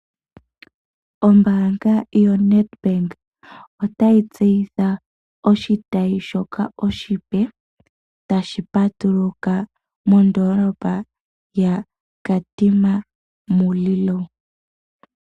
Ombaanga yoNedbank otayi tseyitha oshitayi shoka oshipe shoka tashi patuluka mondoolopa yaKatima Mulilo.